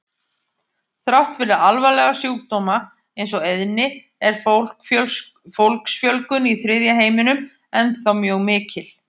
Þrátt fyrir alvarlega sjúkdóma eins og eyðni er fólksfjölgun í þriðja heiminum ennþá mjög mikil.